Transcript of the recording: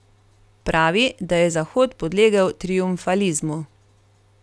Pravi, da je Zahod podlegel triumfalizmu.